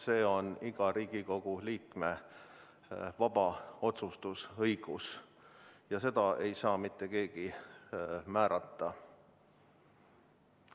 Seda on igal Riigikogu liikmel õigus vabalt otsustada, seda ei saa mitte keegi määrata.